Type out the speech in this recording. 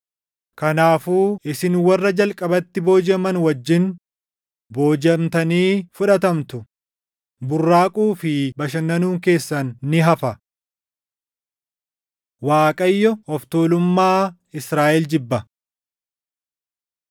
Kanaafuu isin warra jalqabatti boojiʼaman wajjin // boojiʼamtanii fudhatamtu; burraaquu fi bashannanuun keessan ni hafa. Waaqayyo Of Tuulummaa Israaʼel Jibba